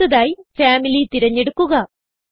അടുത്തതായി ഫാമിലി തിരഞ്ഞെടുക്കുക